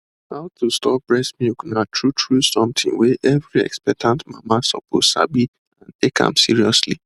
how to store breast milk na truetrue something wey every expectant mama suppose sabi and take am seriously